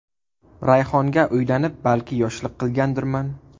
Rayhonga uylanib, balki, yoshlik qilgandirman.